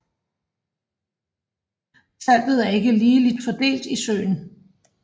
Saltet er ikke ligeligt fordelt i søen